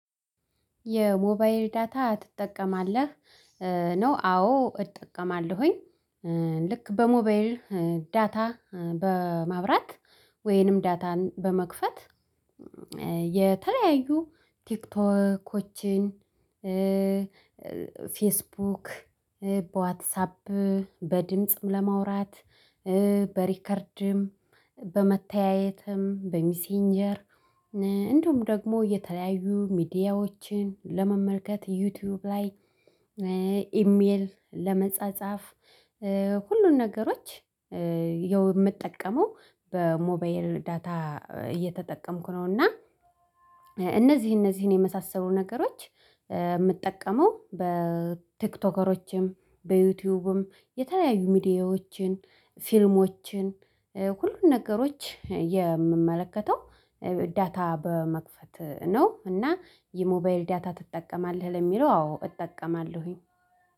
የሞባይል ዳታ ትጠቀማለህ? ነው አዎ እጠቀማለሁኝ። ልክ በሞባል ዳታ በማብራት ወይንም ዳታን በመክፈት የተለያዩ ቲክቶኮችን ፌስቡክ በዋትሳፕ በድምጽም ለማውራት በሪከርድም በመተያየትም በሚሴንጀር እንደውም ደግሞ የተለያዩ ሚዲያዎችን ለመመልከት ዩቲዩብ ላይ ኢሜል ለመጻጻፍ ሁሉን ነገሮች የው የምጠቀመው በሞባይል ዳታ እየተጠቀምኩ ነውና። እና እነዚህ እነዚህን የመሳሰሉ ነገሮች የምጠቀመው በቲክቶከሮችም በዩቲዩብም የተለያዩ ሚዲያዎችን ፊልሞችን ሁሉን ነገሮች የምመለከተው ዳታ በመክፈት ነው። እና የሞባይል ዳታ ትጠቀማለህ ለሚለው አዎ እጠቀማለሁኝ